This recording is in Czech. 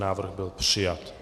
Návrh byl přijat.